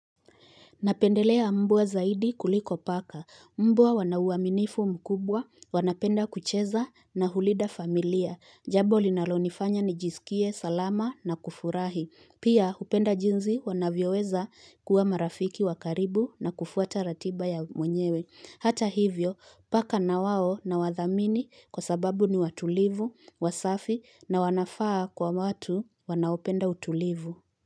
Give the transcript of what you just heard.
Napendelea mbwa zaidi kuliko paka. Mbwa wana uaminifu mkubwa, wanapenda kucheza na hulinda familia. Jambo linalonifanya nijisikie salama na kufurahi. Pia hupenda jinsi wanavyoweza kuwa marafiki wakaribu na kufuata ratiba ya mwenyewe. Hata hivyo, paka na wao nawathamini kwa sababu ni watulivu, wasafi na wanafaa kwa watu wanaopenda utulivu.